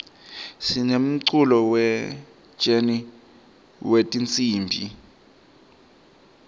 sinemculo we jeni wetinsimb